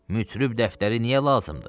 Mütrib dəftəri niyə lazımdır?